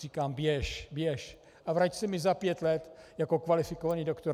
Říkám: Běž, běž a vrať se mi za pět let jako kvalifikovaný doktor.